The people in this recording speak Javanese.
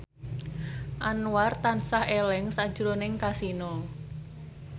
Anwar tansah eling sakjroning Kasino